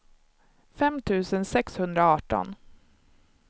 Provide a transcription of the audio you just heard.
fem tusen sexhundraarton